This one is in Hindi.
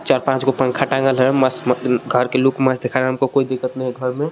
चार पांच को पंखा टांगल है मस्त घर के लुक मस्त दिख रहा है हमको कोई दिक्कत नहीं है घर में.